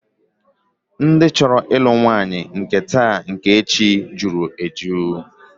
Ndị chọrọ ịlụ nwaanyị nke taa nke echi jụrụ eju